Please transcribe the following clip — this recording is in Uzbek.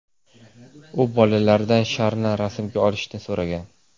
U bolalaridan sharni rasmga olishni so‘ragan.